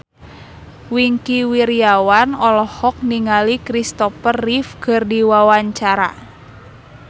Wingky Wiryawan olohok ningali Christopher Reeve keur diwawancara